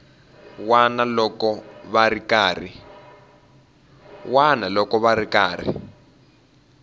wana loko va ri karhi